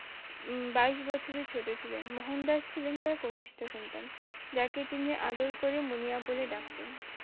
উম বাইশ বছরের ছোট ছিলেন মোহনদাস ছিলেন তার কনিষ্ঠ জেক তিনি আদর করে মুনিয়া বলে ডাকতেন